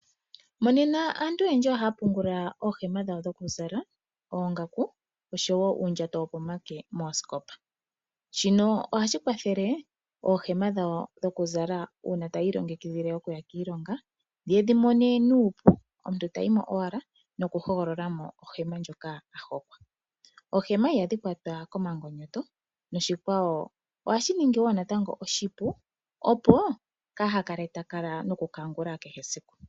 Monena aantu oyendji ohaa pungula ooohema dhawo dhoku zala, oongaku osho wo uundjato wopomake moosikopa. Shino oha shi kwathele ooohema dhawo dhoku zala, uuna tayi ilongikidhile oku ya kiilonga, ye dhi mone nuupu, omuntu ta yi mo owala, noku hogolola ohema ndjoka a hokwa. Oohema iha dhi kwatwa komangonyoto, noshikwawo oha shi ningi wo natango oshipu , opo kaa ha kale noku kangula kehe esiku.